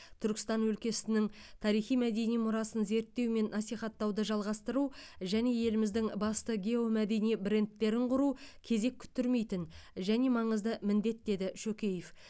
түркістан өлкесінің тарихи мәдени мұрасын зерттеу мен насихаттауды жалғастыру және еліміздің басты геомәдени брендтерін құру кезек күттірмейтін және маңызды міндет деді шөкеев